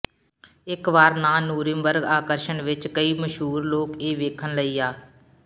ਇਕ ਵਾਰ ਨਾ ਨੁਰਿਮਬਰ੍ਗ ਆਕਰਸ਼ਣ ਵਿਚ ਕਈ ਮਸ਼ਹੂਰ ਲੋਕ ਇਹ ਵੇਖਣ ਲਈ ਆ